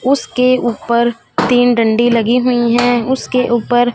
उसके ऊपर तीन डंडी लगी हुईं हैं उसके ऊपर--